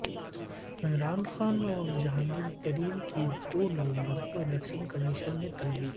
عمران خان اور جانگہیر ترین کی دو نومبر کو الیکشن کمیشن میں طلبی